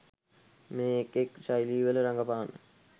මේ එක් එක් ශෛලිවල රඟපාන්න.